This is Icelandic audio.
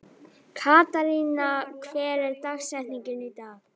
Katharina, hver er dagsetningin í dag?